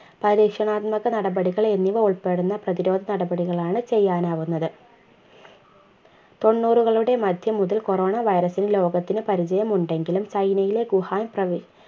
പരീക്ഷണാത്മക നടപടികൾ എന്നിവ ഉൾപ്പെടുന്ന പ്രതിരോധ നടപടികളാണ് ചെയ്യാനാവുന്നത് തൊണ്ണൂറുകളുടെ മധ്യം മുതൽ corona virus ന് ലോകത്തിനു പരിചയം ഉണ്ടെങ്കിലും ചൈനയിലെ വുഹാൻ പ്രവി